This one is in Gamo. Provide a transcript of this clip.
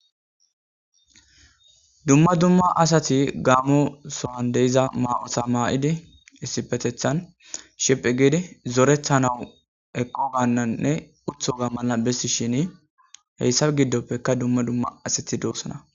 Dumma dumma asati gaamo sohan deiza ma'osa maa'idi issipetethan shiphi gidi zorethanawu eqqo gaannanne uthoga mala bessi shin heyssaf giddoppekka dumma dumma asati doossana